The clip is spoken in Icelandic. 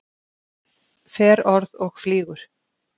Fer orð og flýgur.